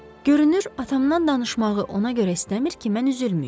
Görünür, atamdan danışmağı ona görə istəmir ki, mən üzülməyim.